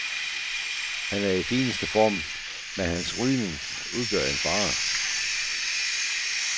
Han er i fineste form, men hans rygning udgør en fare.